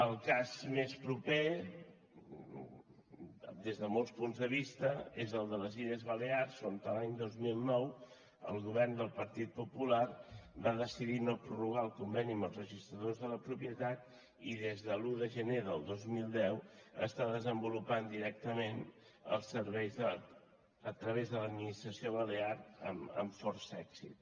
el cas més proper des de molts punts de vista és el de les illes balears on l’any dos mil nou el govern del partit popular va decidir no prorrogar el conveni amb els registradors de la propietat i des de l’un de gener del dos mil deu està desenvolupant directament els serveis a través de l’administració balear amb força èxit